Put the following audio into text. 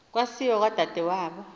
wasiwa kwadade wabo